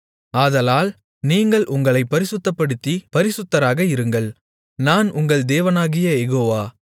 ஆதலால் நீங்கள் உங்களைப் பரிசுத்தப்படுத்திப் பரிசுத்தராக இருங்கள் நான் உங்கள் தேவனாகிய யெகோவா